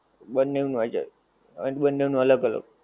બંનેવ નું આઈ જાય. અને બંનેવ નું અલગ અલગ.